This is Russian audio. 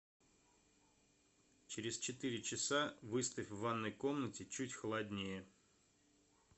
через четыре часа выставь в ванной комнате чуть холоднее